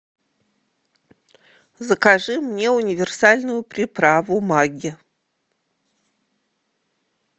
закажи мне универсальную приправу магги